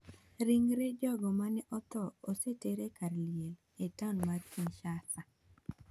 Ringre jogo mane otho oseter e kar liel e taon mar Kinshasa.